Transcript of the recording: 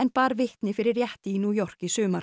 bar vitni fyrir rétti í New York í sumar